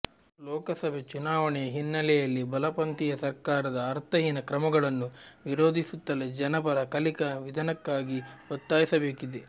ಲೋಕಸಭೆ ಚುನಾವಣೆಯ ಹಿನ್ನೆಲೆಯಲ್ಲಿ ಬಲಪಂಥೀಯ ಸರ್ಕಾರದ ಅರ್ಥಹೀನ ಕ್ರಮಗಳನ್ನು ವಿರೊಧಿಸುತ್ತಲೇ ಜನಪರ ಕಲಿಕಾ ವಿಧನಕ್ಕಾಗಿ ಒತ್ತಾಯಿಸಬೇಕಿದೆ